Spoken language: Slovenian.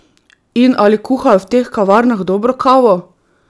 In ali kuhajo v teh kavarnah dobro kavo?